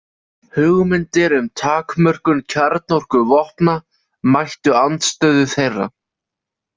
Hugmyndir um takmörkun kjarnorkuvopna mættu andstöðu þeirra.